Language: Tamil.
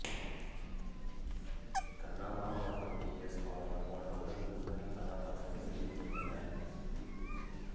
கண்ணாம்பா மற்றும் டி எஸ் பாலையா போன்றவர்கள் முன்னணி கதபாத்திரங்களில் நடித்திருந்தனர்